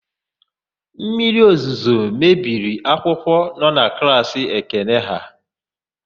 Mmiriozuzo mebiri akwụkwọ nọ na klaasị Ekene ha.